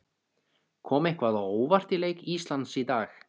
Kom eitthvað á óvart í leik Íslands í dag?